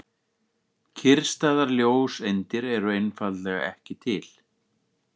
Kyrrstæðar ljóseindir eru einfaldlega ekki til.